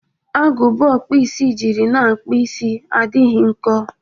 Agụba ọkpụisi jiri na-akpụ isi adịghị nko.